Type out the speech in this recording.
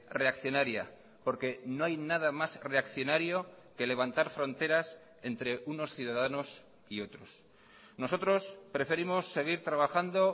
reaccionaría porque no hay nada más reaccionario que levantar fronteras entre unos ciudadanos y otros nosotros preferimos seguir trabajando